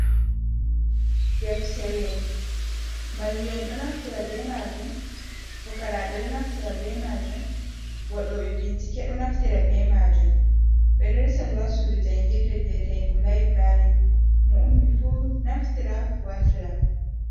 Deftere mallu’en ɗo naftira be majum, fukaraɓe ɗo naftira be majum, waɗo ɓe bincike ɗo naftira be majum ɓe ɗo resa ndu ha sudu jangirde viyetenga du laibrary, mo'ummifu naftira wartira.